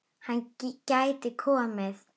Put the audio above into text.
Hann gæti komið